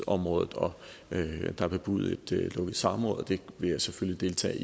og der er bebudet et lukket samråd og det vil jeg selvfølgelig deltage